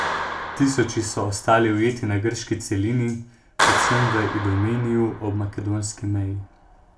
Tisoči so ostali ujeti na grški celini, predvsem v Idomeniju ob makedonski meji.